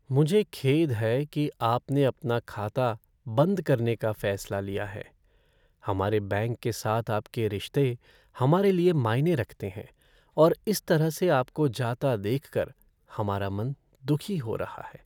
मुझे खेद है कि आपने अपना खाता बंद करने का फैसला लिया है। हमारे बैंक के साथ आपके रिश्ते हमारे लिए मायने रखते हैं और इस तरह से आपको जाता देखकर हमारा मन दुखी हो रहा है।